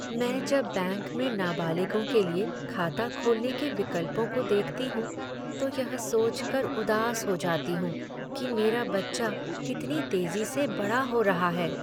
मैं जब बैंक में नाबालिगों के लिए खाता खोलने के विकल्पों को देखती हूँ तो यह सोचकर उदास हो जाती हूँ कि मेरा बच्चा कितनी तेजी से बड़ा हो रहा है।